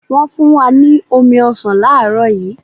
Wọn fun wa ni omi ọsan laarọ yi